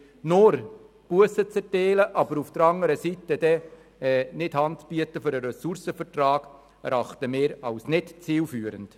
Nur Bussen zu erteilen, aber nicht Hand für einen Ressourcenvertrag zu bieten, erachten wir als nicht zielführend.